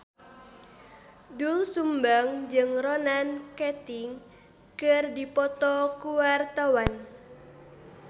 Doel Sumbang jeung Ronan Keating keur dipoto ku wartawan